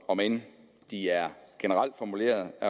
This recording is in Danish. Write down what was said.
om end de er generelt formuleret